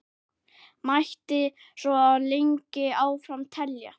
Mætti svo lengi áfram telja.